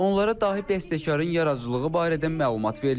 Onlara dahi bəstəkarın yaradıcılığı barədə məlumat verilib.